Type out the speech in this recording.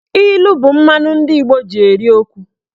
Ilu bụ mmanụ ndị Igbo ji eri okwu.